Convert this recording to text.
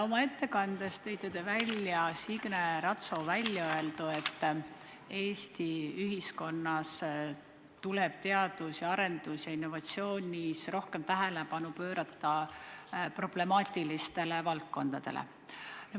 Oma ettekandes tõite välja Signe Ratso väljaöeldu, et Eesti ühiskonnas tuleb teadus- ja arendustöös ja innovatsioonis rohkem tähelepanu pöörata problemaatilistele valdkondadele.